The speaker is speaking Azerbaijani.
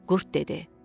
Qurd dedi: